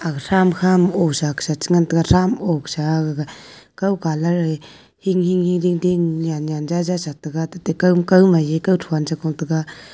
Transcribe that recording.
thram khama osa khesa chengan taiga thram osa gaga kaw colour e hinghing dingding nyannyan jaja satega kawmai e kawthon chephang taiga.